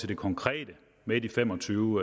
det konkrete med de fem og tyve